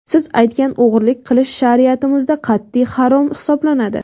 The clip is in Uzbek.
Siz aytgan o‘g‘irlik qilish shariatimizda qat’iy harom hisoblanadi.